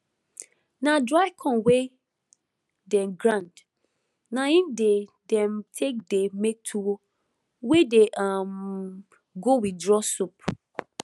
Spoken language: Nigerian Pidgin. na dry corn wey dey grind na im dey dem take dey make tuwo wey dey um go with draw soup